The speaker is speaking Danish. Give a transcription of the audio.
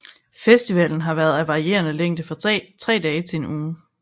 Festivalen har været af varierende længde fra tre dage til en uge